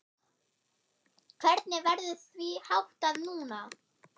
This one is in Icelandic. Hvernig verður því háttað núna?